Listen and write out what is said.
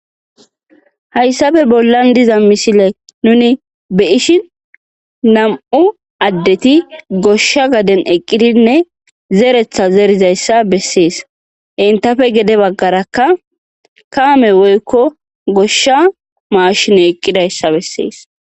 Hayisape bollan diza misileyn nun be'ishen na'mu adeti gosha gaden eqidinee zeretha zeridaysa beses intape gede bagaraka kame woyiko gosha mashiney eqidayisa beses